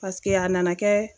Paseke a nana kɛ